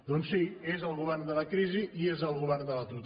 doncs sí és el govern de la crisi i és el govern de l’atur